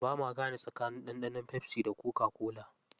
Bama gane tsakanin ɗanɗanon pepsi da coca-cola.